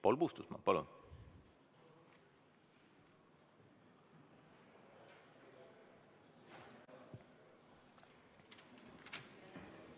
Paul Puustusmaa, palun!